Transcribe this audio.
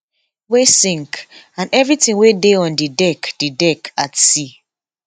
[wey sink] and evritin wey dey on di deck di deck at sea